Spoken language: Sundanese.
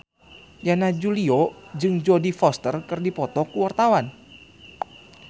Yana Julio jeung Jodie Foster keur dipoto ku wartawan